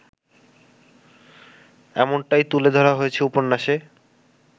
এমনটাই তুলে ধরা হয়েছে উপন্যাসে